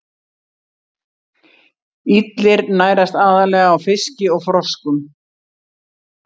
Illir nærast aðallega á fiski og froskum.